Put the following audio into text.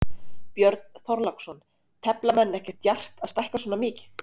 Björn Þorláksson: Tefla menn ekkert djarft að stækka svona mikið?